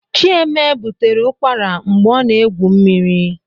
Chieme butere ụkwara mgbe ọ na egwu mmiri